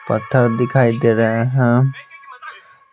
पत्थर दिखाई दे रहे हैं।